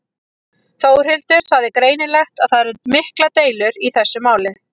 Þórhildur: Það er greinilegt að það eru miklar deilur í þessu máli?